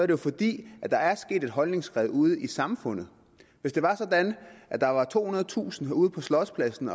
jo fordi der er sket et holdningsskred ude i samfundet hvis det var sådan at der var tohundredetusind mennesker ud på slotspladsen